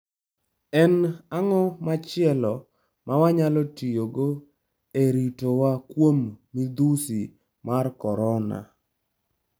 En ang'o machielo ma wanyalo tiyogo e ritowa kuom midhusi mar Korona?